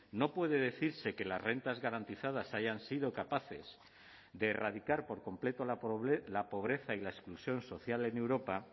no puede decirse que las rentas garantizadas hayan sido capaces de erradicar por completo la pobreza y la exclusión social en europa